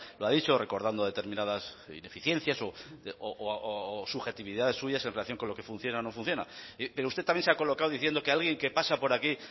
lo ha dicho recordando determinadas ineficiencias o subjetividades en relación con lo que funciona o no funciona pero usted también se ha colocado diciendo que alguien que pasa por aquí